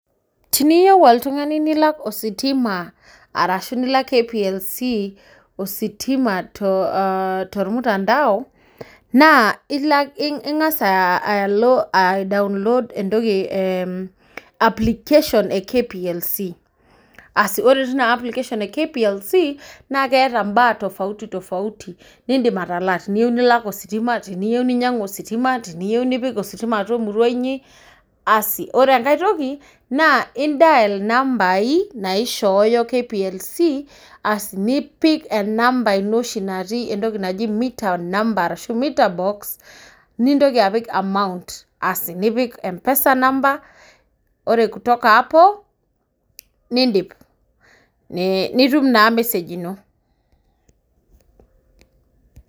Teniyieu oltungani nilak ositima arashu nilak, kplc ositima tolmutandao naa ingas alo ai download application e kplc, ore teina application e kplc naa keeta mbaa tofauti tofauti nidim atalaa, teniyieu, nilak ositima teniyieu, ninyiangu ositima, teniyieu ninyiangu ositima apik atua emurua inyi, asi ore enkae toki naa dial inambai naishooyo kplc asi nipik enamba ino oshi natii meter number ashu meter box nintoki apik amount nipik mpesa number ore kutoka hapo nidip nit naa message ino.